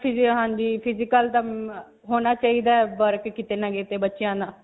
ਆਪਣੀਆਂ physical ਹੋਣਾ ਚਾਹਿਦਾ ਹੈ work ਕਿਤੇ ਨਾ ਕਿਤੇ ਬੱਚਿਆਂ ਦਾ.